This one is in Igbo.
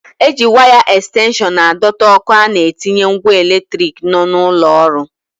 E ji waya ẹkstenshọn a dọta ọ́kụ́ a na-etinye ngwa eletrik nọ n'ụlọ ọrụ.